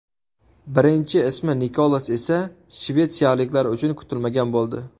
Birinchi ismi Nikolas esa shvetsiyaliklar uchun kutilmagan bo‘ldi.